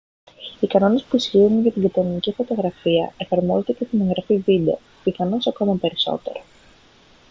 οι κανόνες που ισχύουν για την κανονική φωτογραφία εφαρμόζονται και στην εγγραφή βίντεο πιθανώς ακόμα περισσότερο